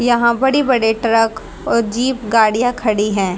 यहां बड़ी बड़े ट्रक और जीप गाड़ियां खड़ी है।